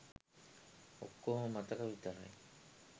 ඔක්කෝම මතක විතරයි.